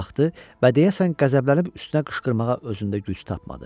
Baxdı və deyəsən qəzəblənib üstünə qışqırmağa özündə güc tapmadı.